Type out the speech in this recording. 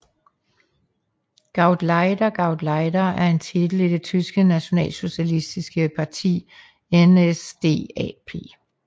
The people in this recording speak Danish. GauleiterGauleiter var en titel i det tyske nationalsocialistiske parti NSDAP